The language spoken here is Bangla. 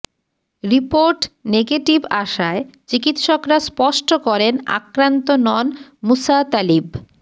রিপোর্ট নেগেটিভ আসায় চিকিৎসকরা স্পষ্ট করেন আক্রান্ত নন মুসা তালিব